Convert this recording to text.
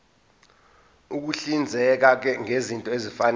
ukuhlinzeka ngezinto ezifanele